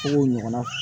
ɲɔgɔnna